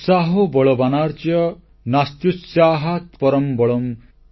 ଉତ୍ସାହୋ ବଳବାନାର୍ଯ୍ୟ ନାସ୍ତ୍ୟୁତ୍ସାହାତ୍ପରଂ ବଳମ୍